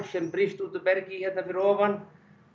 sem brýst út úr bergi hérna fyrir ofan